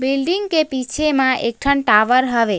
Building के पीछे मा एक ठन टावर हवे।